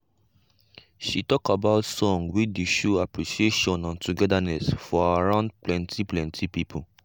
she talk about song we dey show appreciation and togetherness for around plenty plenty pipo.